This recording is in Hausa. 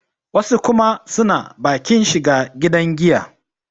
wasu kuma suna bakin shiga gidan giya